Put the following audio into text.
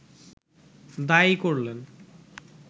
দায়ী করলেন